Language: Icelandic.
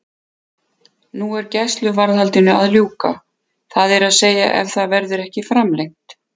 Nú er gæsluvarðhaldinu að ljúka, það er að segja ef það verður ekki framlengt.